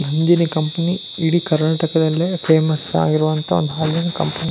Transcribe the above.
Nandini company ಇಡಿ ಕರ್ನಾಟಕದಲ್ಲಿ famous ಆಗಿರುವಂತಹ ಒಂದು ಹಾಲಿನ ಕಂಪನಿ --